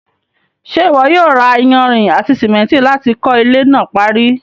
ṣé ìwọ yóò ra iyanrìn àti sìmẹ́ntì láti kọ́ ilẹ́ náà parí?